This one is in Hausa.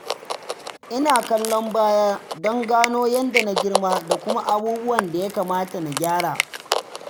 Ina kallon baya don gano yadda na girma da kuma abubuwan da ya kamata na gyara.